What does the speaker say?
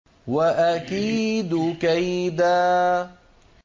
وَأَكِيدُ كَيْدًا